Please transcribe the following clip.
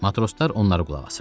Matroslar onlara qulaq asırdılar.